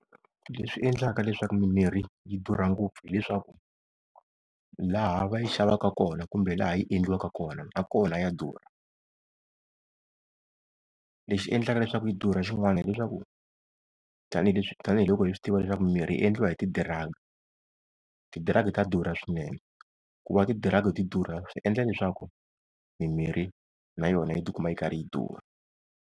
Leswi endlaka leswaku mimirhi yi durha ngopfu hileswaku, laha va yi xavaka kona kumbe laha yi endliwaka kona na kona ya durha. Lexi endlaka leswaku yi durha xin'wana hileswaku, tanihileswi, tanihiloko hi swi tiva leswaku mimirhi yi endliwa hi ti-drugs ti-drug ta durha swinene, ku va ti-drug ti durha swi endla leswaku mimirhi na yona yi tikuma yi karhi yi durha.